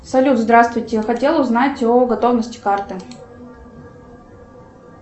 салют здравствуйте я хотела узнать о готовности карты